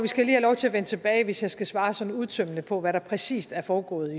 skal have lov til at vende tilbage hvis jeg skal svare sådan udtømmende på hvad der præcis er foregået